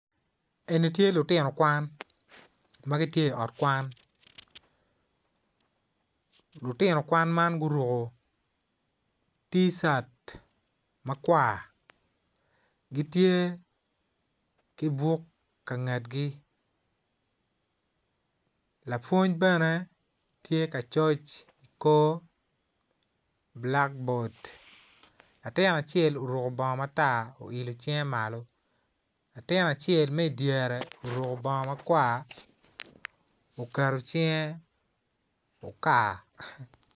Eni tye lutino kwan ma gitye i ot kwan lutino kwan man guruku ticat makwargitye ki buk ka ngetgi lapwony bene tye ka coc i kor bulakbod latin acel oruku bongo matar oilo cingge malo atin acel mi dyere oruku bongo matar oketo cinggge ukar